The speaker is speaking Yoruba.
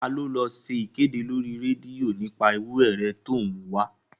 Taa ló lọ ṣe ìkéde lórí rédíò nípa ewúrẹ̀ rẹ̀ tó ń wá?